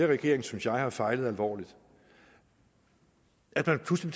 regeringen synes jeg har fejlet alvorligt at man pludselig